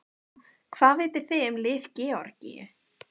Hvað vitið þið um lið Georgíu?